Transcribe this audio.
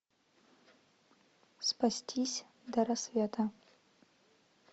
спастись до рассвета